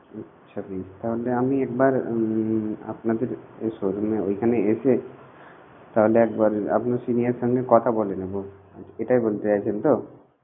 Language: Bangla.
আচ্ছা বেশ তাহলে আমি একবার উমম আপনাদের showroom এ ঐখানে এসে তাহলে একবার আপনার senior এর সঙ্গে কথা বলে নেবো এইটাই বলতে চাইছেন তো?